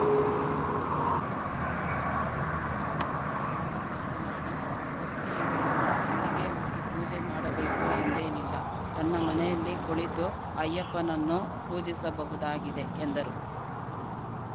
ಮಂಗಳವಾರ ಧರ್ಮಸ್ಥಳದಲ್ಲಿ ಸುದ್ದಿಗಾರರೊಂದಿಗೆ ಮಾತನಾಡಿ ಭಕ್ತಿ ಇರುವವರು ಅಲ್ಲಿಗೇ ಹೋಗಿ ಪೂಜೆ ಮಾಡಬೇಕು ಎಂದೇನಿಲ್ಲ ತನ್ನ ಮನೆಯಲ್ಲಿ ಕುಳಿತೂ ಅಯ್ಯಪ್ಪನನ್ನೂ ಪೂಜಿಸಬಹುದಾಗಿದೆ ಎಂದರು